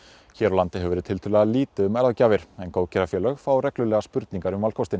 hér á landi hefur verið tiltölulega lítið um en góðgerðafélög fá reglulega spurningar um valkostinn